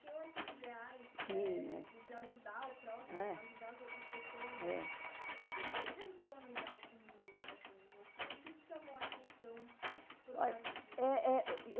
Tinham esses ideais, eh... Tinha. De de ajudar o próximo, ajudar as ou, as pessoas. O que te encantou no ideal comunista assim o que o que te chamou atenção. Olha, é é